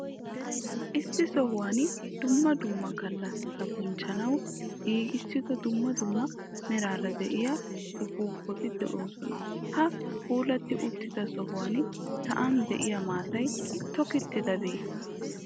Issi sohuwan dumma dumma gallassata bonchchanawu giigissido dumma dumma meraara diya upuupati de'oosona. Ha puulatti uttido sohuwan sa'an diya maatay tokkidobeeyye?